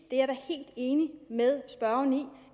er da helt enig med spørgeren i